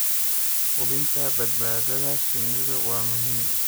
hubinta badbaadada shinnidu waa muhiim.